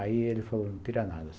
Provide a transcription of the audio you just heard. Aí ele falou, não tira nada.